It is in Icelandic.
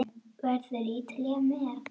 Verður Ítalía með?